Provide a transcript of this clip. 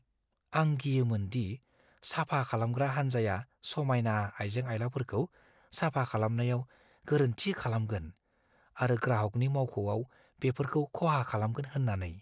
आं गियोमोन दि साफा खालामग्रा हानजाया समायना आइजें-आइलाफोरखौ साफा खालामनायाव गोरोन्थि खालामगोन आरो ग्राहगनि मावख'आव बेफोरखौ खहा खालामगोन होन्नानै।